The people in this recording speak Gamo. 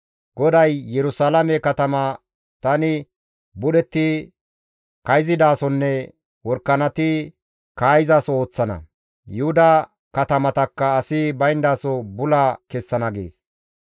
GODAY, «Yerusalaame katama tani budhetti kayzidasonne worakanati kaa7izaso ooththana. Yuhuda katamatakka asi bayndaso bula kessana» gees.